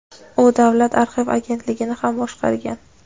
u davlat arxiv agentligini ham boshqargan.